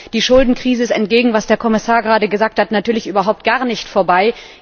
Die Schuldenkrise ist entgegen dem, was der Kommissar gerade gesagt hat, natürlich überhaupt nicht vorbei.